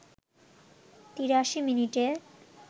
৮৩ মিনিটে